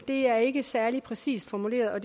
det er ikke særlig præcist formuleret og